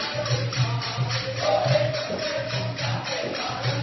ഗാനം